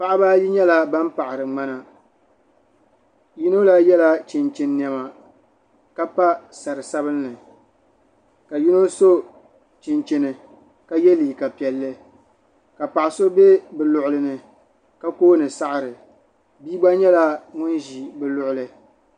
Paɣaba ayi nyɛ ban paɣiri ŋmana yino la yɛla chinchin niɛma ka pa sari sabinli ka yino so chinchini ka yɛ liiga piɛlli ka paɣa so bɛ luɣuli ni ka kooni saɣiri bia gba nyɛla ŋun ʒi bi luɣuli.